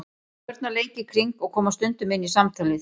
Börn að leik í kring og koma stundum inn í samtalið.